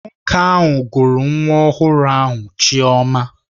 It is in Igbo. Nwoke ahụ gụrụ nwa ọhụrụ ahụ Chioma